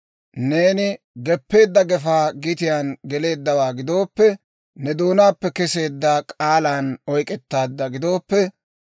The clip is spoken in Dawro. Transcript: neeni geppeedda gefaa gitiyaan geleeddawaa gidooppe, ne doonaappe keseedda k'aalan oyk'k'etteeddawaa gidooppe,